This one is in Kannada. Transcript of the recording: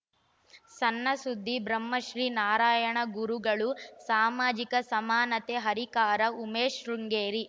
ಸಣ್ಣ ಸುದ್ದಿ ಬ್ರಹ್ಮಶ್ರೀ ನಾರಾಯಣಗುರುಗಳು ಸಾಮಾಜಿಕ ಸಮಾನತೆ ಹರಿಕಾರ ಉಮೇಶ್‌ ಶೃಂಗೇರಿ